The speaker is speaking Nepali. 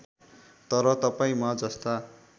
तर तपाईँ म जस्ता